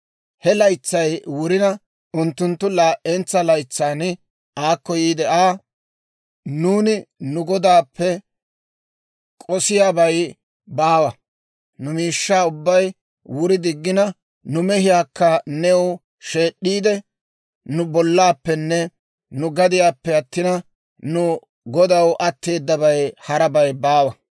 He laytsay wurina, unttunttu laa"entsa laytsan aakko yiide Aa, «Nuuni nu godaappe k'osiyaabay baawa; nu miishshaa ubbay wuri diggina, nu mehiyaakka new sheed'd'iide, nu bollaappenne nu gadiyaappe attin, nu godaw atteedabay harabay baawa.